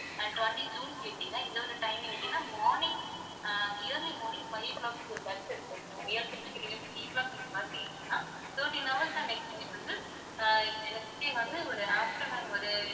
ஆஹ் twenty June கேட்டீங்கன்னா இந்த ஒரு timing கேட்டீங்கன்னா morning ah early morning five o'clock ஒரு bus இருக்கும் okay யா ma'am ஏழு பத்துக்கு நீங்க bus ஏறுனீங்கனா thirteen hours தான் next வந்து ஆஹ் next day வந்து ஒரு afternoon ஒரு